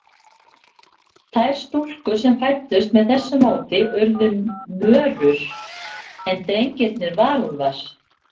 Þær stúlkur sem fæddust með þessu móti urðu mörur, en drengirnir varúlfar.